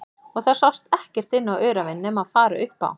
Og það sást ekkert inn á öræfin nema fara upp á